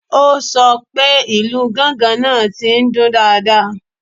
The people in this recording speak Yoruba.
O sọ pé ìlù gángan náà ti ń dún dáadáa